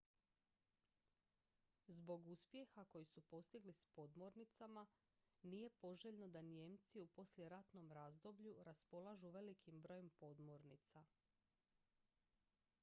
zbog uspjeha koji su postigli s podmornicama nije poželjno da nijemci u poslijeratnom razdoblju raspolažu velikim brojem podmornica